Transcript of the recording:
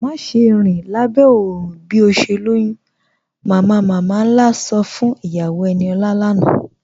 Màṣẹ̀ rin lábẹ́ oòrùn bí o ṣè lọ́yún, "mamamama-nlá sọ́ fún iyàwó Eníọla lánà.